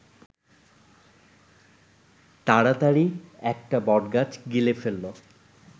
তাড়াতাড়ি একটা বটগাছ গিলে ফেলল